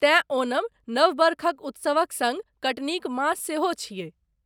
तैं ओणम नव बरखक उत्सवक सङ्ग कटनीक मास सेहो छियै।